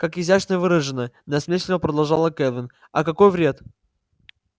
как изящно выражено насмешливо продолжала кэлвин а какой вред